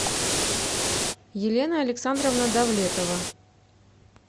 елена александровна давлетова